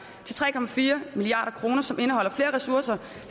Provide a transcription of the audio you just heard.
til tre milliard kr som indeholder flere ressourcer